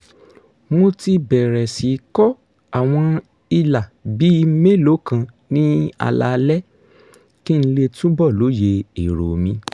mo ti bẹ̀rẹ̀ sí kọ àwọn ìlà bíi mélòó kan ní alaalẹ́ kí n lè túbọ̀ lóye èrò mi